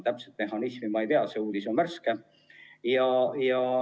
Täpset mehhanismi ma ei tea, see uudis on värske.